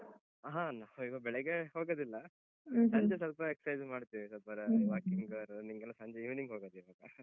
ಹ ನಾವೀವಾಗ್ ಬೆಳಗ್ಗೆ ಹೋಗುದಿಲ್ಲ, ಸಂಜೆ ಸ್ವಲ್ಪ exercise ಮಾಡ್ತೇವೆ, ಸ್ವಲ್ಪ ರಾ walking ಆ ಸ್ವಲ್ಪ ಸಂಜೆ evening ಹೋಗೋದು ಈವಾಗ.